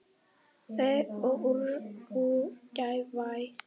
Þau og Úrúgvæ.